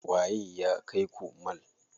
Waye ya kaiku mall?